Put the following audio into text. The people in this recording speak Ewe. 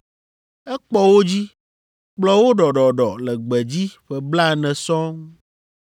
Ekpɔ wo dzi, kplɔ wo ɖɔɖɔɖɔ le gbedzi ƒe blaene sɔŋ.